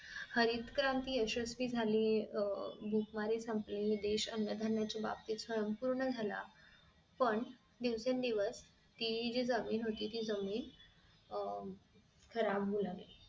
हरितक्रांती यशस्वी झाली अह भूकमारी संपली देश अन्न धान्य च बाबतीत संपूर्ण झाला पण दिवसेंदिवस ती जी जमीन होती ती जमीन अह खराब होऊ लागली